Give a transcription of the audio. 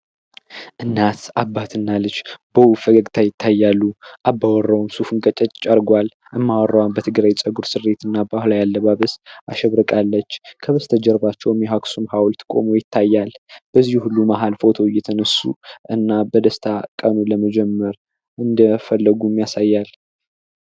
እናት አባት እና ልጅ በውብ ፈገግታ ይታያሉ አባወራውም ሱፉን ቀጨጭ አርጓል እማወራዋም በትግራ ጸጉር ስሬት እና ባህላዊ አለባብስ አሸብርቃለች ከበስተጀርባቸው የአክሱም ሀውልት ቆሞ ይታያል በዚህ ሁሉ መሃል ፎቶ እየተነሱ እና በደስታ ቀኑ ለመጀመር እንደፈለጉም ያሳያል።